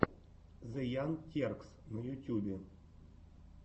зе янг теркс на ютьюбе